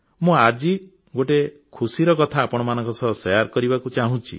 ମୁଁ ଆଜି ଆଉ ଗୋଟିଏ ଖୁସିର କଥା ଆପଣମାନଙ୍କ ସହ ବାଣ୍ଟିବାକୁ ଚାହୁଁଛି